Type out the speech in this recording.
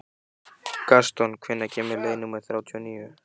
Gaston, hvenær kemur leið númer þrjátíu og níu?